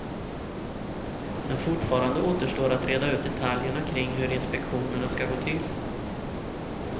Men fortfarande återstår att reda ut detaljerna kring hur inspektionerna skall gå till.